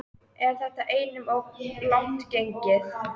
En þetta er einum of langt gengið.